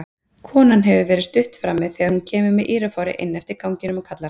Konan hefur verið stutt frammi þegar hún kemur með írafári inn eftir ganginum og kallar